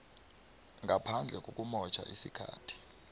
ngaphandle kokumotjha isikhathi